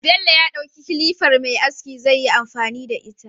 Bello ya dauki kilifar Me aski zai yi amfani da ita